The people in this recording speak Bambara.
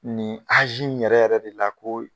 Nin in yɛrɛ yɛrɛ de la ko